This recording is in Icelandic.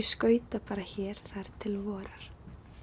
skauta bara hér þar til vorar